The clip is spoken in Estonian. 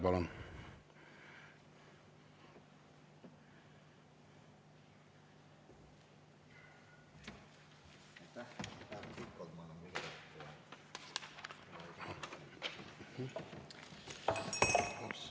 Palun!